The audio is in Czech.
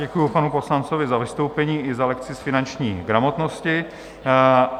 Děkuji panu poslanci za vystoupení i za lekci z finanční gramotnosti.